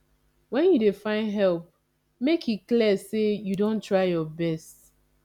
wen you dey find help make e clear sey you don try your best